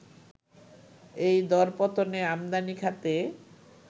এই দরপতনে আমদানি খাতে